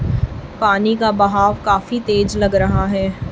पानी का बहाव काफी तेज लग रहा है।